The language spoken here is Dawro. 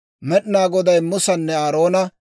Med'inaa Goday Musanne Aaroona,